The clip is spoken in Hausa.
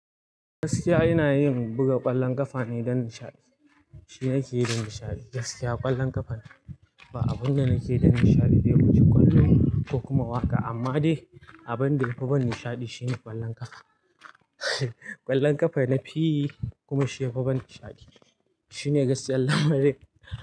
Gaskiya ina yin buga ƙwallon ƙafa ne don nishaɗi. Shi nakeyi don nishaɗi. Gaskiya ƙwallon ƙafa ne. Ba abun da nake yi don nishaɗi da wuce kwallo ko kuma waƙa amma dai abin da yafi bani nishaɗi shine ƙwallon ƙafa. Ƙwallon ƙafa na fi yi kuma shi yafi bani nishaɗi. Shine gaskiyar lamarin.